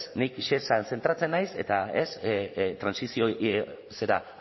nik shesan zentratzen naiz eta ez trantsizio zera